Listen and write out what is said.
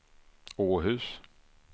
Åhus